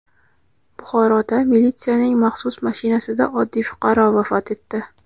Buxoroda militsiyaning maxsus mashinasida oddiy fuqaro vafot etdi.